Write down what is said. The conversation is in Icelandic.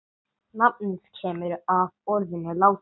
Nafnið kemur af orðinu látur.